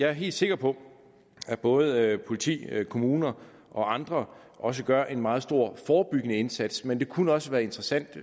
helt sikker på at både politi kommuner og andre også gør en meget stor forebyggende indsats men det kunne også være interessant